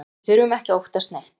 Við þurfum ekki að óttast neitt